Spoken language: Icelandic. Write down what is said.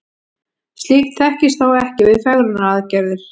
slíkt þekkist þó ekki við fegrunaraðgerðir